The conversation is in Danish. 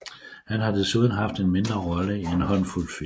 Han har desuden haft en mindre roller i en håndfuld film